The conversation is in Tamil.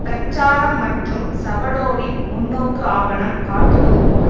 பிரச்சாரம் மற்றும் சபடோவின் முன்னோக்கு ஆவணம் காட்டுவதுபோல்